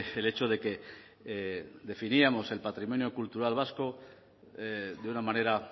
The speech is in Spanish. el hecho de que definíamos el patrimonio cultural vasco de una manera